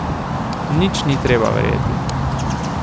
Nič ni treba verjeti.